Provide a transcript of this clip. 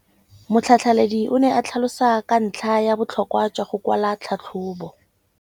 Motlhatlheledi o ne a tlhalosa ka ntlha ya botlhokwa jwa go kwala tlhatlhôbô.